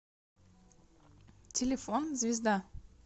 телефон звезда